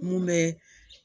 Mun bɛ